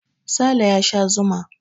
Sale ya sha zuma.